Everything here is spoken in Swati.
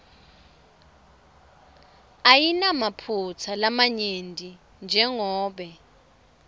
ayinamaphutsa lamanyenti jengobe